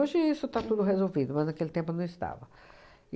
isso está tudo resolvido, mas naquele tempo não estava.